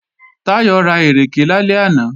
Táyọ̀ ra ìrèké lálẹ́ àná